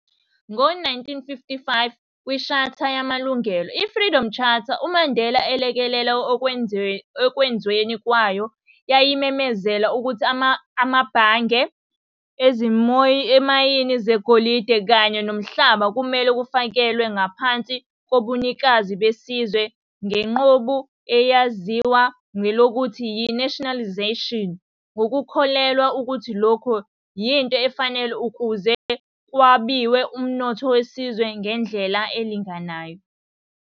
Ngo 1955, kwiShatha yamalungelo, i-Freedom Charter, uMandela alekelela ekwenzweni kwayo, yayimemezela ukuthi amabhangi, izimauimi zegolide kanye nomhlaba kumele kufakelwe ngaphansi kobunikazi besizwe ngenqubo eyaziwa ngelokuthi yi-nationalisation, ngokukholelwa ukuthi lokhu yinto efanele ukuze kwabiwe umnotho wesizwe ngendlela elinganayo.